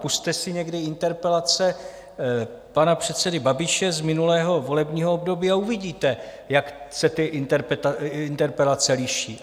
Pusťte si někdy interpelace pana předsedy Babiše z minulého volebního období a uvidíte, jak se ty interpelace liší.